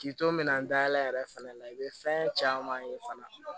K'i to min na n da yɛlɛ yɛrɛ fɛnɛ la i bɛ fɛn caman ye fana